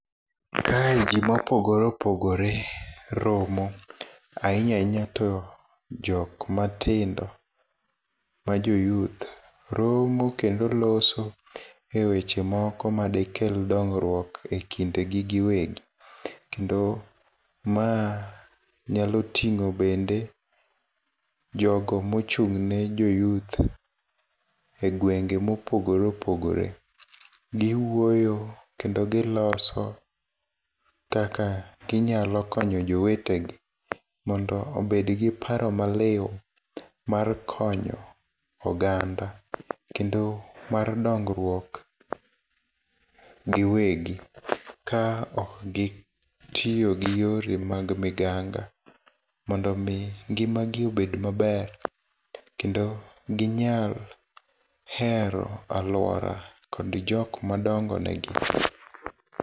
Kae jii mopogore opogore romo, ahinya hinya to jok matindo ma jo youth, romo kendo loso e weche moko madekel dongruok e kindegi giwegi. Kendo ma nyalo ting'o bende jogo mochung'ne jo youth e gwenge mopogore opogore. Giwuoyo kendo giloso kaka ginyalo jowetegi mondo obedgi paro maliu mar konyo oganda, kendo mar dongruok giwegi, ka okgitiyo gi yore mag miganga, mondomi ngimagi obed maber, kendo ginyal hero aluora kod jok madongo negi.